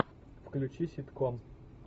включи ситком